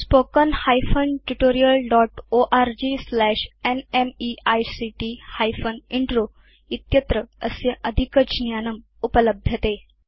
spoken hyphen tutorial dot org slash NMEICT hyphen intro इत्यत्र अस्य अधिकज्ञानम् उपलभ्यते